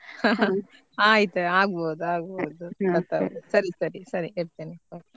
ಆಯ್ತು ಆಗ್ಬಹುದು ಆಗ್ಬಹುದು ಸರಿ ಸರಿ ಸರಿ ಇಡ್ತೆನೆ .